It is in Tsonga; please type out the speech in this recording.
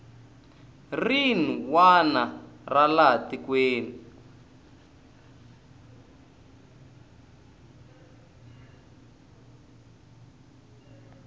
rin wana ra laha tikweni